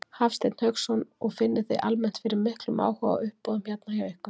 Hafsteinn Hauksson: Og finnið þið almennt fyrir miklum áhuga á uppboðum hérna hjá ykkur?